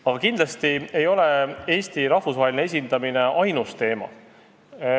Aga kindlasti ei ole Eesti rahvusvaheline esindamine ainus teema.